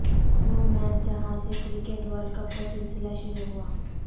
وہ میچ جہاں سے کرکٹ ورلڈ کپ کا سلسلہ شروع ہوا